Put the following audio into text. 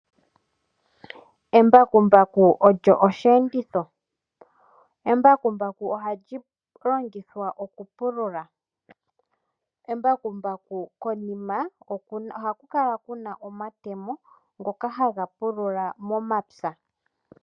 Embakumbaku olyo osheenditho. Embakumbaku ohali longithwa okupulula. Embakumbaku konima ohaku kala ku na omatemo ngoka ha ga pulula momapya.